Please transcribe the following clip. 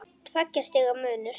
Tveggja stiga munur.